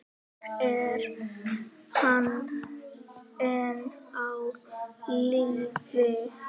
Er hann enn á lífi?